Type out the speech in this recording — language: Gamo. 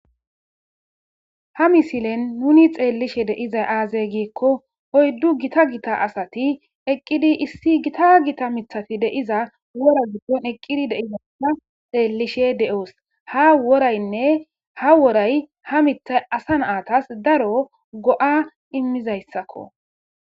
ha misilen nuni xeellishe deizay aazay giekko oyddu gita gita asati eqqidi issi gita gita mithafi deiza wora giddon eqqidi deizana xeellishe de7oos ha woraynne ha woray ha mitha asa naatas daro go7a immizayssakko